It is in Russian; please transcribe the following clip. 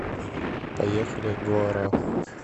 поехали гоара